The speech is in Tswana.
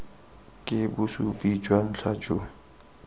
ke bosupi jwa ntlha jo